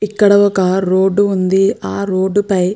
ఇక్కడ ఒక రోడ్డు ఉంది ఆ రోడ్డు పై --